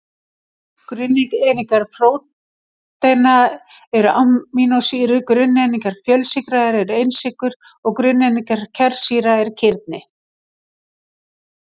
Grunneiningar prótína eru amínósýrur, grunneiningar fjölsykra eru einsykrur og grunneiningar kjarnasýra eru kirni.